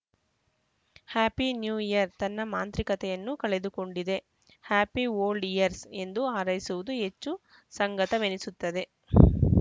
happy new year ತನ್ನ ಮಾಂತ್ರಿಕತೆಯನ್ನು ಕಳೆದುಕೊಂಡಿದೆ ಹ್ಯಾಪಿ ಓಲ್ಡ್‌ ಇಯರ್ಸ್‌ ಎಂದು ಹಾರೈಸುವುದು ಹೆಚ್ಚು ಸಂಗತವೆನ್ನಿಸುತ್ತದೆ